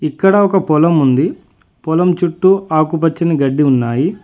ఇక్కడ ఒక పొలం ఉంది పొలం చుట్టూ ఆకుపచ్చని గడ్డి ఉన్నాయి.